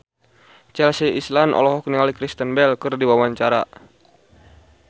Chelsea Islan olohok ningali Kristen Bell keur diwawancara